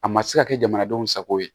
A ma se ka kɛ jamanadenw sago ye